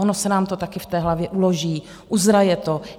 Ono se nám to také v té hlavě uloží, uzraje to.